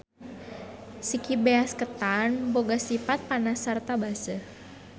Siki beas ketan boga sipat panas sarta baseuh.